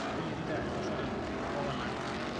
kayierita entasat mboka naamelok